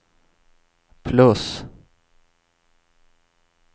plus